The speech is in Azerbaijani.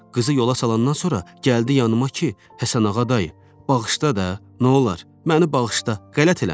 Qızı yola salandan sonra gəldi yanıma ki, Həsənağa dayı, bağışla da, nə olar, məni bağışla, qələt eləmişəm.